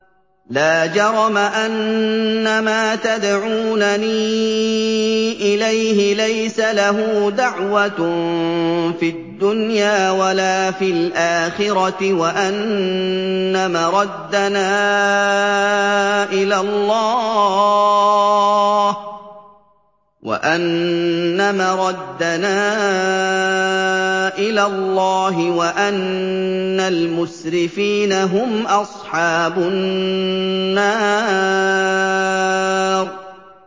لَا جَرَمَ أَنَّمَا تَدْعُونَنِي إِلَيْهِ لَيْسَ لَهُ دَعْوَةٌ فِي الدُّنْيَا وَلَا فِي الْآخِرَةِ وَأَنَّ مَرَدَّنَا إِلَى اللَّهِ وَأَنَّ الْمُسْرِفِينَ هُمْ أَصْحَابُ النَّارِ